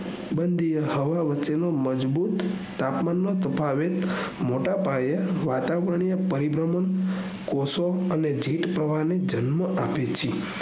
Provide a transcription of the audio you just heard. બંધીયા હવા વચ્ચે નો મજબૂત તાપમાન નો તફાવત મોટા પાયે વાતાવરણીય પરિબ્રહ્મણ કોષો અને જીવ પ્રણાલી જન્મ આપે છે